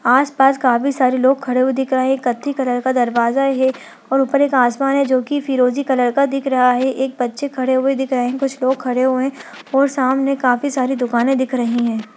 आस-पास काफी सारे लोग खड़े दिख रहे है एक कत्थी कलर का दरवाजा है और ऊपर एक आसमान है जो की फिरोजी कलर का दिख रहा है एक बच्चे खड़े हुए दिख रहे है कुछ लोग खड़े हुए है और सामने काफी सारी दुकाने दिख रही है।